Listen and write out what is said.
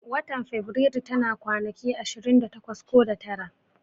Watan faberaru tana kwanaki ashirin da takwas ko da tara